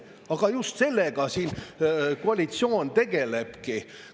Aga just sellega siin koalitsioon tegelebki.